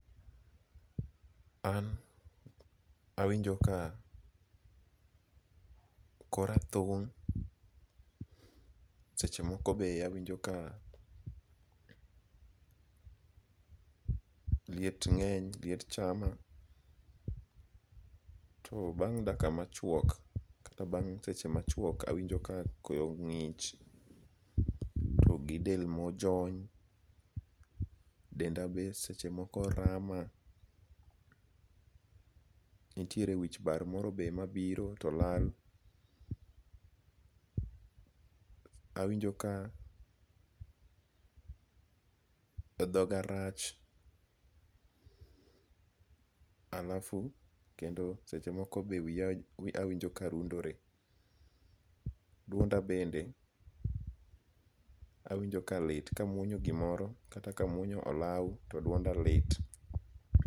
An awinjo ka kora thung' seche moko be awinjo ka liet nge'ny liet chama, to bang' dakika machuok kata bang' seche machuok awinjo ka koyo ngi'ch to gi del mojony, denda be sechemoko rama, nitiere wich bar moro be ma biro to lal, awinjo ka thoga rach alafu kendo sechemoko be wiya awinjo ka rundore, duonda benda awinjo ka lit ka amuonyo gimoro kata ka amuonyo olau to duonda lit.